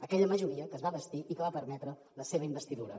aquella majoria que es va bastir i que va permetre la seva investidura